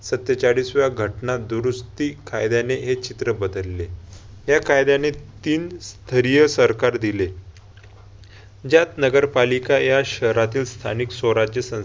सत्तेचाळीसव्या घटना दुरुस्ती कायद्याने हे चित्र बदलले. या कायद्याने तीन धैर्य सरकार दिले. ज्यात नगरपालिका या शहरातील स्थानिक स्वराज्य संस्थेला